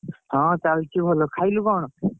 ହଁ ଚାଲିଛି ଭଲ। ଖାଇଲୁ କଣ?